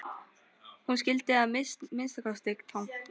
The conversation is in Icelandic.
Hún skildi það að minnsta kosti þannig.